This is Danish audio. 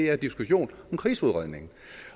er diskussion om krigsudredningen